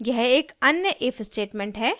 यह एक अन्य if statement है